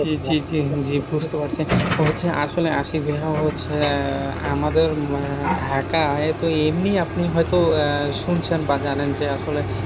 জী জী বুঝতে পারছি। ও হচ্ছে আসলে আশিক ভাইয়া হচ্ছে আহ আমাদের আহ ঢাকায় তো এমনি আপনি হয়তো আহ শুনছেন বা যানেন। যে আসলে,